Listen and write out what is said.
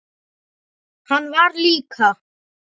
Hann var líka.